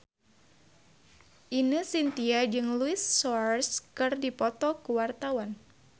Ine Shintya jeung Luis Suarez keur dipoto ku wartawan